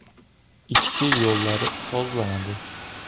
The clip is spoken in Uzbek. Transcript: Ichki yo‘llari sozlanadi.